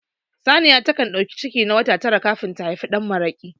Saniya ta kan ɗauki ciki na wata tara kafin ta haifi ɗanmaraƙi